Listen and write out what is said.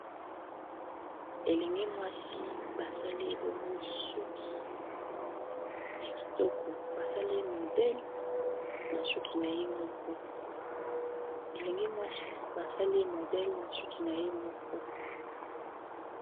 Elenge mwasi basali ye bongo suki ya kitoko basaliye modele na suki na ye moko